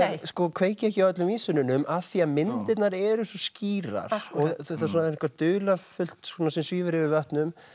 kveiki ekki á öllum af því að myndirnar eru svo skýrar og það er eitthvað dularfullt sem svífur yfir vötnum